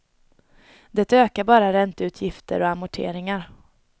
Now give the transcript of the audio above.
Det ökar bara ränteutgifter och amorteringar.